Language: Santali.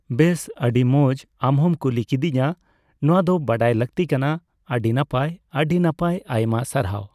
ᱵᱮᱥ, ᱟᱹᱰᱤ ᱢᱚᱡᱽ ᱟᱢᱦᱚᱢ ᱠᱩᱞᱤ ᱠᱤᱫᱤᱧᱟᱹ, ᱱᱚᱣᱟ ᱫᱚ ᱵᱟᱰᱟᱭ ᱞᱟᱠᱛᱤ ᱠᱟᱱᱟ᱾ ᱟᱹᱰᱤ ᱱᱟᱯᱟᱭ, ᱟᱹᱰᱤ ᱱᱟᱯᱟᱭ ᱟᱭᱢᱟ ᱥᱟᱨᱦᱟᱣ᱾